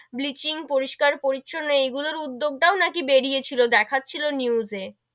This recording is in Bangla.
Bleaching পরিষ্কার পরিচ্ছন্ন এই গুলোর উদ্দগ টাও নাকি বেরিয়েছিল দেখছিলো news এ,